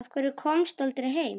Af hverju komstu aldrei heim?